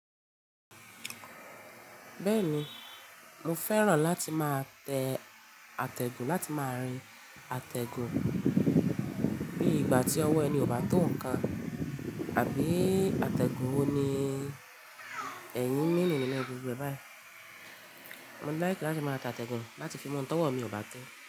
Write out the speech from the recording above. Bẹ́ẹ̀ni, mo fẹ́ràn láti máa tẹ àtẹ̀gùn láti máa rin àtẹ̀gùn bí ìgbà tí ọwọ́ ẹni ò bá tò nǹkan àbí àtẹ̀gùn wo ni ẹ̀yin ń ní nínú gbogbo e bayìí? Mo like láti máa tatẹ̀gùn láti fi mú ọ̀hun tọwọ́ mi ò bá to.